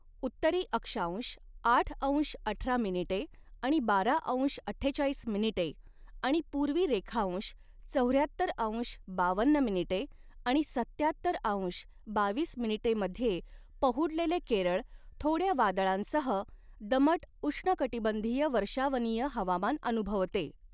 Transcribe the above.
उत्तरी अक्षांश आठ अंश अठरा मिनिटे आणि बारा अंश अठ्ठेचाळीस मिनिटे आणि पूर्वी रेखांश चौऱ्याहत्तर अंश बावन्न मिनिटे आणि सत्त्याहत्तर अंश बावीस मिनिटे मध्ये पहुडलेले केरळ थोड्या वादळांसह दमट उष्णकटिबंधीय वर्षावनीय हवामान अऩुभवते.